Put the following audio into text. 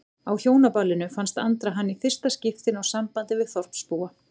Á Hjónaballinu fannst Andra hann í fyrsta skipti ná sambandi við þorpsbúa.